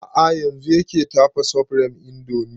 A'a yanzun yake tafa supreme indomie